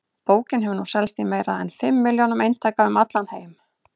Bókin hefur nú selst í meira en fimm milljónum eintaka um allan heim.